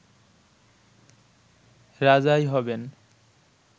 রাজাই হবেন